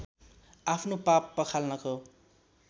आफ्नो पाप पखाल्नको